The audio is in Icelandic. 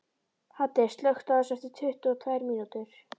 Haddi, slökktu á þessu eftir tuttugu og tvær mínútur.